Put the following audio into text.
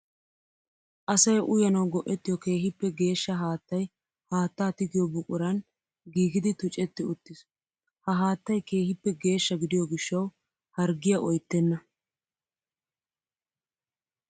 Asay uyanawu go'ettiyo keehippe geeshsha haattay haatta tigiyo buquran giigiddi tuccetti uttiis. Ha haattay keehippe geeshsha gidiyo gishawu harggiya oyttenna.